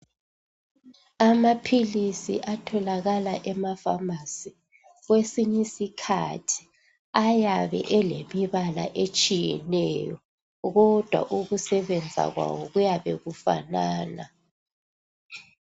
Amaphilizi atholakala emakhemisi kwesinye isikhathi ayabe elemibala etshiyeneyo kodwa ukusebenza kwawo kuyabe okufanana.